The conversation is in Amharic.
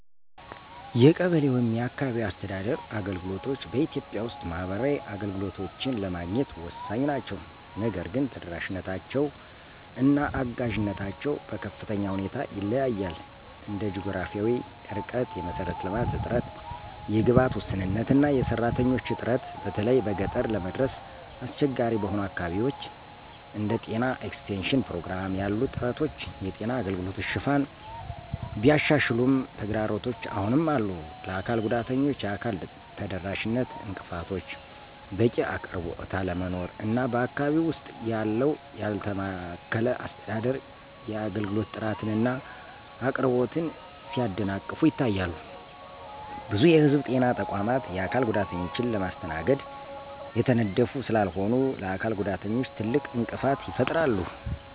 የቀበሌ (አካባቢያዊ አስተዳደር) አገልግሎቶች በኢትዮጵያ ውስጥ ማህበራዊ አገልግሎቶችን ለማግኘት ወሳኝ ናቸው። ነገር ግን ተደራሽነታቸው እና አጋዥነታቸው በከፍተኛ ሁኔታ ይለያያል እንደ ጂኦግራፊያዊ ርቀት፣ የመሰረተ ልማት እጥረት፣ የግብዓት ውስንነት እና የሰራተኞች እጥረት በተለይም በገጠር ለመድረስ አስቸጋሪ በሆኑ አካባቢዎች። እንደ ጤና ኤክስቴንሽን ፕሮግራም ያሉ ጥረቶች የጤና አገልግሎት ሽፋንን ቢያሻሽሉም ተግዳሮቶች አሁንም አሉ፣ ለአካል ጉዳተኞች የአካል ተደራሽነት እንቅፋቶች፣ በቂ አቅርቦት አለመኖር እና በአካባቢው ውስጥ ያለው ያልተማከለ አስተዳደር የአገልግሎት ጥራትን እና አቅርቦትን ሲያደናቅፉ ይታያሉ። ብዙ የህዝብ ጤና ተቋማት የአካል ጉዳተኞችን ለማስተናገድ የተነደፉ ስላልሆኑ ለአካል ጉዳተኞች ትልቅ እንቅፋት ይፈጥራሉ።